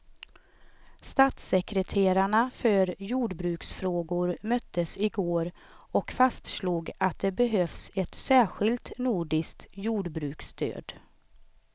Statssekreterarna för jordbruksfrågor möttes igår och fastslog att det behövs ett särskilt nordiskt jordbruksstöd.